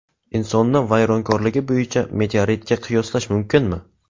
Insonni vayronkorligi bo‘yicha meteoritga qiyoslash mumkinmi?